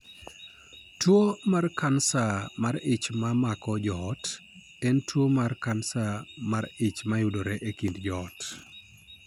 Tuwo mar kansa mar ich ma mako joot, en tuwo mar kansa mar ich mayudore e kind joot.